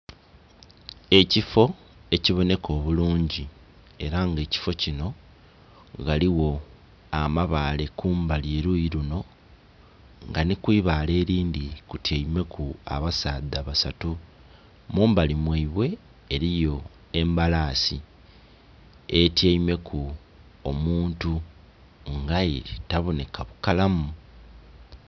Ekifo ekibonheka obulungi era nga ekifo kinho ghaligho amabaale kumbali eluyi lunho nga nhi kwibaale elndhi lityeime ku abasaadha basatu mumbali mwaibwe eliyo embalasi etyeime ku omuntu nga aye tabonheka bukalamu.